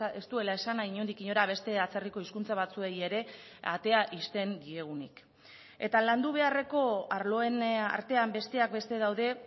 ez duela esan nahi inondik inora beste atzerriko hizkuntza batzuei ere atea ixten diegunik eta landu beharreko arloen artean besteak beste daude